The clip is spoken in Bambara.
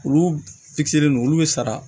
Olu fitinin nunnu olu be sara